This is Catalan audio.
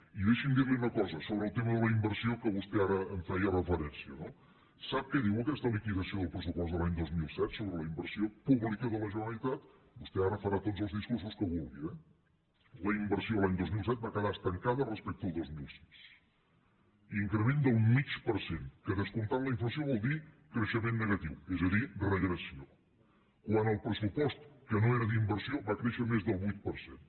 i deixi’m dir·li una cosa sobre el tema de la inversió que vostè ara hi feia referència no sap què diu aquesta liquidació del pressupost de l’any dos mil set sobre la inversió pública de la generalitat vostè ara farà tots els discur·sos que vulgui eh la inversió l’any dos mil set va quedar estancada respecte al dos mil sis increment del mig per cent que descomptant la inflació vol dir creixement negatiu és a dir regressió quan el pressupost que no era d’in·versió va créixer més del vuit per cent